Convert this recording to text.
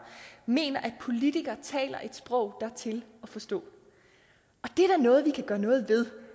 mener at politikere taler et sprog der er til at forstå og noget vi kan gøre noget ved